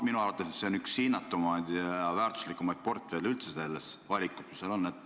Minu arvates see on üks hinnatumaid ja väärtuslikumaid portfelle üldse selles valikus, mis seal on.